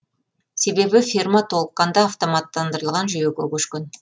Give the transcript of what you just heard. себебі ферма толыққанды автоматтандырылған жүйеге көшкен